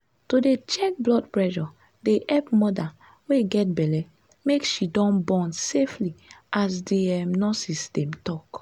to dey check blood pressure dey epp moda wey get belle make she born safely as the um nurses dem tal